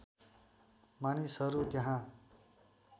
मानिसहरू त्यहाँ